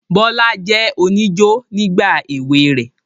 Bọlá jẹ́ oníjó nígbà èwe rẹ̀